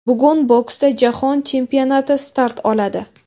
Bugun boksda Jahon chempionati start oladi.